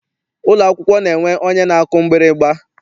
Ụlọ akwụkwọ na-enwe onye na-akụ mgbịrịgba.